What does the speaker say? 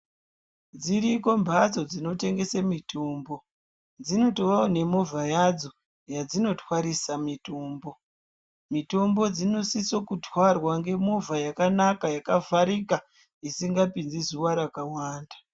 Dziriko mphatso dzinotengese mitombo. Dzinotovawo nemovha yadzo, yadzinotwarisa mitombo. Mitombo dzinosiso kutwarwa ngemovha yakanaka, yakavharika, isingapinzi zuwa rakawanda.